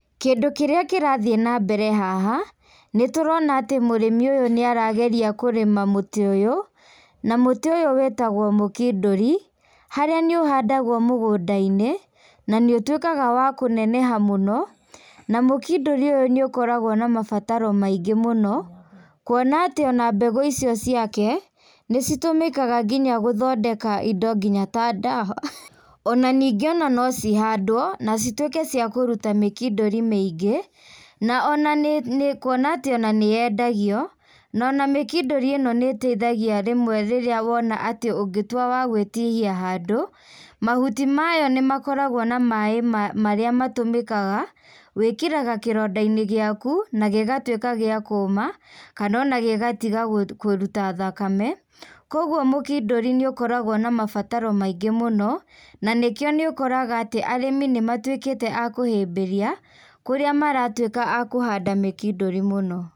Kĩndũ kĩrĩa kĩrathiĩ nambere haha, nĩtũrona atĩ mũrĩmi ũyũ nĩarageria kũrĩma mũtĩ ũyũ, na mũtĩ ũyũ wĩtagwo múkindũri, harĩa nĩũhandagwo mũgũnda-inĩ, nanĩũtuĩkaga wa kũneneha mũno, na mũkindũri ũyũ nĩũkoragwo na mabataro maingĩ mũno, kuona atĩ ona mbegũ icio ciake, nĩcitũmĩkaga gũthondeka indo nginya ta ndawa, ona ningĩ ona nocihandwo, nacitwĩke ciakũruta mĩkindũri mĩingĩ, na ona nĩ nĩ kuona atĩ nĩyendagio, nona mĩkindũri ĩno nĩteithagia rĩmwe rĩrĩa wona atĩ ũngĩtuĩka wa gwĩtihia handũ, mahuti mayo nĩmakoragwo na maĩ marĩa matũmĩkaga, wĩkĩraga kĩronda-inĩ gĩaku, na gĩgatwĩka gĩa kũma, kanona gĩgatiga kũ kũruta thakame, koguo mũkindũri nĩũkoragwo na mabataro maingĩ muno, na nĩkĩo nĩũkoraga atĩ, arĩmi nĩmatuĩkĩte a kũhĩmbĩria, kũrĩa maratuĩka a kũhanda mĩkindũri mũno.